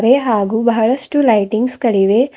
A ಹಾಗೂ ಬಹಳಷ್ಟು lightings ಗಳಿವೆ.